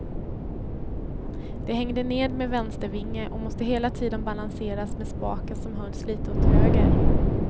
Det hängde ned med vänster vinge och måste hela tiden balanseras med spaken som hölls litet åt höger.